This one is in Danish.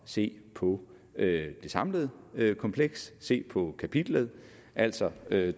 se på det samlede kompleks se på kapitlet altså det